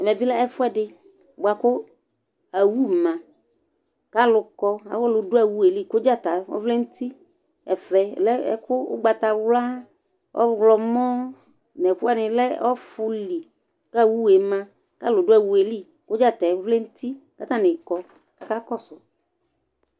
ɛmɛ bɩ lɛ ɛfʊɛdɩ bua kʊ owu ma, kʊ alʊ kɔ, alʊ dʊ owu yɛ li kʊ dzăta vlɛ nʊ uti, ɛfɛ lɛ ɛkʊ ugbatawla, ɔwlɔmɔ, nʊ ɛfʊɛdɩ lɛ ɔfʊ li, kʊ owu yɛ ma, kʊ alʊ dʊ owu yɛ li, kʊ dzăta yɛ vlɛ n'uti kʊ atanɩ kɔ kʊ akakɔsu